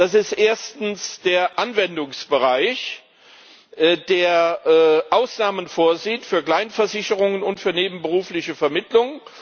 Das ist erstens der Anwendungsbereich, der Ausnahmen vorsieht für Kleinversicherungen und für nebenberufliche Vermittlung.